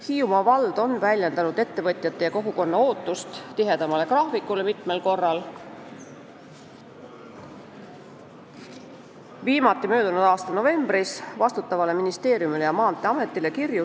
Hiiumaa vald on mitmel korral väljendanud ettevõtjate ja kogukonna ootust tihedamale graafikule ning viimati möödunud aasta novembris saatnud kirju vastutavale ministeeriumile ja Maanteeametile.